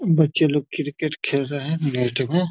बच्चे लोग क्रिकेट खेल रहे हैं नेट में।